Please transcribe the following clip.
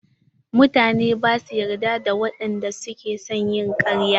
Mutane bash yarda da wadanda suke son yi ƙarya.